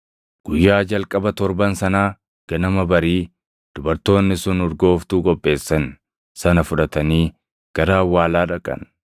Guyyaa jalqaba torban sanaa ganama barii, dubartoonni sun urgooftuu qopheessan sana fudhatanii gara awwaalaa dhaqan.